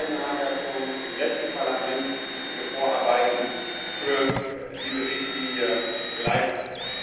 Die beiden haben ja schon im letzten Parlament wichtige Vorarbeiten für diese Richtlinie geleistet.